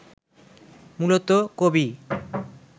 মূলত: কবি